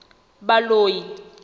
baloi